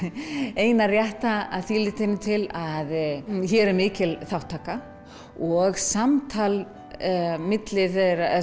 eina rétta að því leytinu til að hér er mikil þátttaka og samtal milli